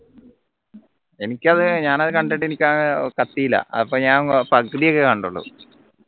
എനിക്കത് ഞാൻ അത് കണ്ടിട്ട് എനിക്ക് അഹ് കത്തിയില്ല അപ്പോ ഞാൻ പകുതി ഒക്കെ കണ്ടുള്ളൂ